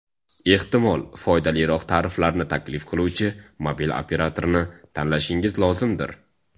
Ehtimol, foydaliroq tariflarni taklif qiluvchi mobil operatorini tanlashingiz lozimdir.